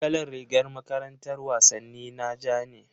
Kalar rigar makarantar wasanni na ja ne.